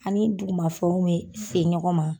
Ani dugumafɛnw mɛ se ɲɔgɔn ma.